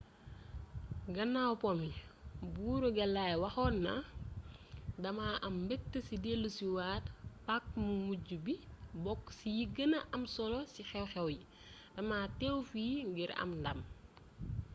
gannaaw po mi buuru clay waxonna dama am mbëgte ci deluci waat paac mu mujju bi bokku ci yi gën am solo ci xew-xew yi dama teew fii ngir am ndam